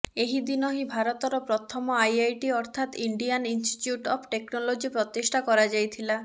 ଏହିଦିନ ହିଁ ଭାରତର ପ୍ରଥମ ଆଇଆଇଟି ଅର୍ଥାତ ଇଣ୍ଡିଆନ ଇନଷ୍ଟିଚ୍ୟୁଟ ଅଫ ଟେକ୍ନୋଲୋଜି ପ୍ରତିଷ୍ଠା କରାଯାଇଥିଲା